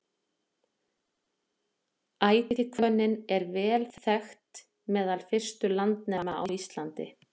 Ætihvönnin var vel þekkt meðal fyrstu landnema á Íslandi.